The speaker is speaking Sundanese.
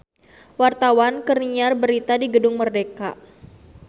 Wartawan keur nyiar berita di Gedung Merdeka